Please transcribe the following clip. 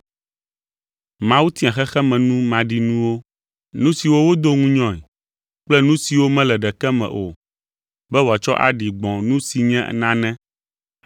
Mawu tia xexemenu maɖinuwo, nu siwo wodo ŋunyɔe kple nu siwo mele ɖeke me o, be wòatsɔ aɖi gbɔ nu si nye nanee,